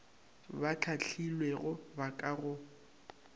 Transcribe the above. ba hlahlilwego ba ka go